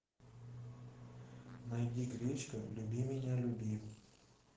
найди гречка люби меня люби